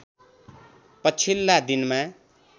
पछिल्ला दिनमा